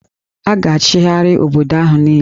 A ga-achịgharị obodo ahụ niile